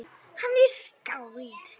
Hann er skáld.